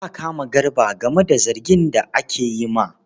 Za a kama Garba game da zargin da ake yi ma.